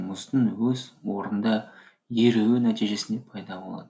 мұздың өз орнында еруі нәтижесінде пайда болады